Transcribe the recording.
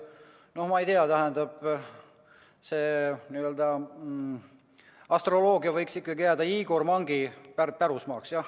No ma ei tea, tähendab, see n‑ö astroloogia võiks ikkagi jääda Igor Mangi pärusmaaks.